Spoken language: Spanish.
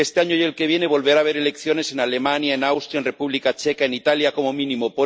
Este año y el que viene volverá a haber elecciones en Alemania, en Austria, en República Checa, en Italia, como mínimo.